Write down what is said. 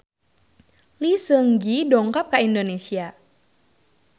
Lee Seung Gi dongkap ka Indonesia